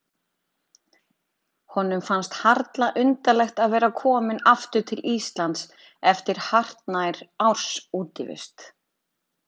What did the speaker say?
Honum fannst harla undarlegt að vera kominn aftur til Íslands eftir hartnær árs útivist.